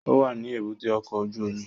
Ó wà ní èbúté ọkọ̀ ojú omi